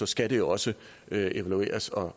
skal det også evalueres og